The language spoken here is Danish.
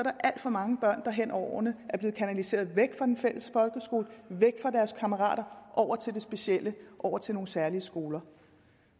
er alt for mange børn der hen over årene er blevet kanaliseret væk fra den fælles folkeskole væk fra deres kammerater og til det specielle over til nogle særlige skoler